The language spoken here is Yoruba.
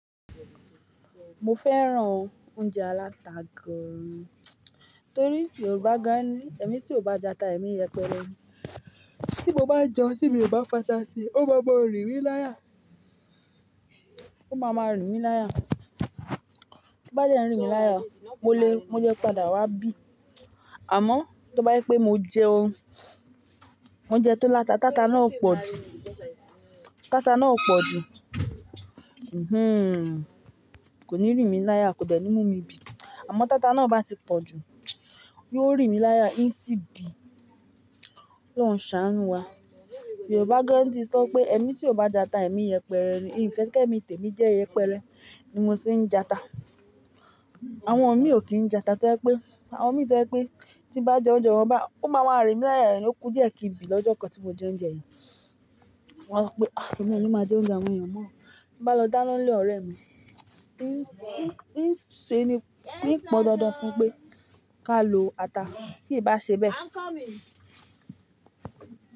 Mo fẹ́ràn oúnjẹ aláta gan, torí Yorùbá gan ní "ẹmi tí ò bá jata, ẹmi yẹpẹrẹ ni". Tí mo bá jẹun, tí èmi ò bá fata sí i, ó máa máa rìn mí láya, ó máa ma rìn mí láya. Bí ó bá dẹ́ n rìn mí láya, mo lè, mo le padà wá bí. Àmọ́ tí ó bá je pé mo jẹun, mo jẹun tó láta, tata náà ó pọ̀ jù, tata náà ó pọ̀ jù. Hmm, kò ní rìn mí láya, kò dẹ́ ni mú mi bí. Àmọ́ tata náà bá ti pọ̀ jù, yóò rìn mí láya, ń sì bí, Ọlọ́run ṣàánú wa. Yorùbá gan ní ti sọ pé "ẹmi tí ò bá jata, ẹmi yẹpẹrẹ ni". N ò fẹ́ kí ẹmi tèmi jẹ́ yẹpẹrẹ ni mo ṣe ń jata. Àwọn mi ò kí ń jata to je pé, àwọn mi to je pé tí n bá jẹ ounje wọn báyìí, ó máa máa rìn mí láya, ó kú díẹ̀ kí n bí lọ́jọ́ kan tí mo jẹ ounje yen. Mo wá so pé "à, ẹmi ò ní máa jẹ ounje awon èyí mọ́". Ti mo bá lọ dáná nlé orẹ́ mi, ń ṣe ni, ń pọn dandan fún un pé ká lo ata. Tíí bá ṣe bẹ́ẹ̀